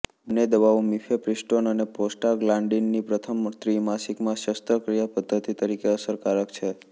બંને દવાઓ મિફેપ્રિસ્ટોન અને પ્રોસ્ટાગ્લાન્ડિન પ્રથમ ત્રિમાસિકમાં શસ્ત્રક્રિયા પદ્ધતિ તરીકે અસરકારક છે